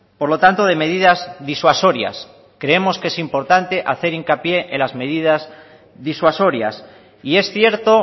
por lo tanto de medidas disuasorias creemos que importante hacer hincapié en las medidas disuasorias y es cierto